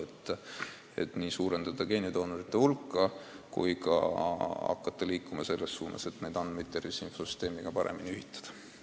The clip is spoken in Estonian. Eesmärk on suurendada geenidoonorite hulka ja hakata liikuma selles suunas, et neid andmeid tervishoiu infrastruktuuri andmetega paremini ühitada.